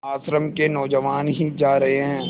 आश्रम के नौजवान ही जा रहे हैं